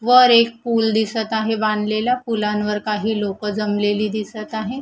वर एक पुल दिसतं आहे बांधलेलं. पुलांवर काही लोकं जमलेली दिसतं आहे.